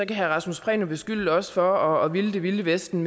kan herre rasmus prehn beskylde os for at ville det vilde vesten